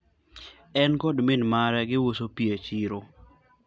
en kod min mare giuso pi e chiro